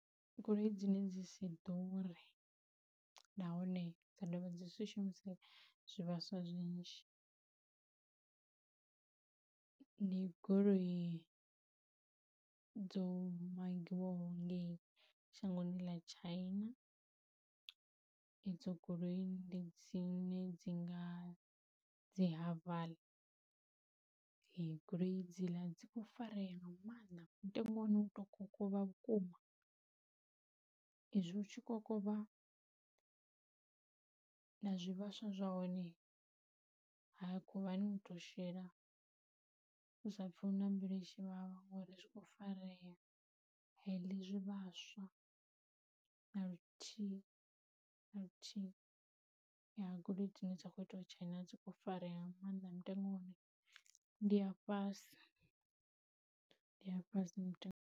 Goloi dzine dzi si ḓure nahone dza dovha dzi si shumise zwivhaswa zwinzhi, ndi goloi dzo magiwaho ngei shangoni ḽa China edzo goloi ndi dzine dzi nga dzi Harval, goloi dzi ḽa dzi kho farea nga mannḓa mutengo wa hone u to kokovha vhukuma, izwi u tshi kokovha na zwivhaswa zwa hone ha khuvhani u to shela u sa pfhi na mbilu itshi vhavha ngori zwi kho farea a iḽi zwivhaswa na luthihi na luthihi ya goloi dzi no kho itwa China dzi kho farea nga mannḓa mutengo hone ndi a fhasi ndi a fhasi mutengo.